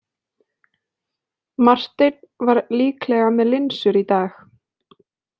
Marteinn var líklega með linsur í dag.